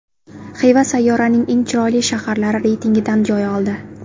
Xiva sayyoraning eng chiroyli shaharlari reytingidan joy oldi.